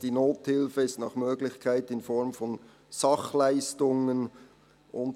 «Die Nothilfe ist nach Möglichkeit in Form von Sachleistungen […